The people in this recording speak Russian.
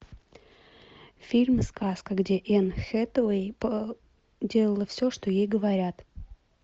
фильм сказка где энн хэтэуэй делала все что ей говорят